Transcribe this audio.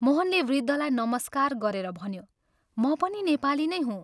मोहनले वृद्धलाई नमस्कार गरेर भन्यो, "म पनि नेपाली नै हुँ।